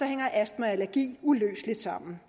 hænger astma og allergi uløseligt sammen